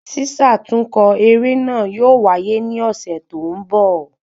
Sísàtúnkọ eré náà yóò waye ni ọ̀sẹ̀ tó ń bọ̀